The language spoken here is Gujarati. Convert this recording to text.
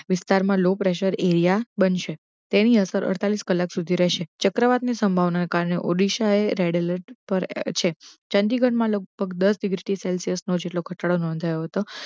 વીસ્તાર low pressure મા એરીયા બનશે, તેની અસર અઠિયાવીસ કલાક સુધી રહેશે. ચક્રવાત નીશંભાવના ના કારણે ઉડીશાએ રેડ અલૅટ પર છે, ચંદીગડ મા લગભગ દસ થી વીસ તીસ સેલ્શીયસ નોધાયો હતો